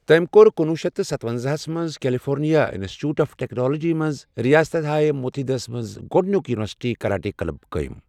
تٔمۍ کوٚر کُنوُہ شیتھ ستونزاہسَ منٛز California Institute of Technology منٛز ریاستیٲیی متحدہ ہَس منٛز گۄڈنیُک یونیورسٹی کراٹے کلب قٲیم۔